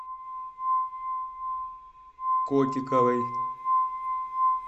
котиковой